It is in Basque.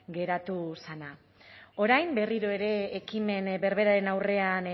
geratu zena orain berriro ere ekimen berberaren aurrean